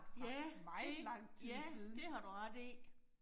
Ja, det, ja det har du ret i